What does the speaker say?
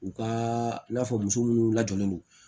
U ka i n'a fɔ muso munnu lajɔlen don